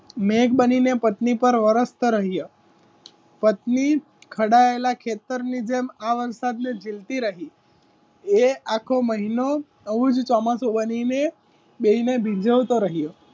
મેઘ બનીને પત્ની પર વરસ રહીએ પત્ની ખડાયેલા ખેતરની જેમ આ વરસાદની જીલતી રહી એ આખો મહિનો ગુડ ચોમાસુ બનીને બેવ ને ભીંજવતો રહ્યો.